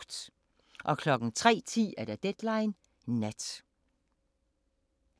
03:10: Deadline Nat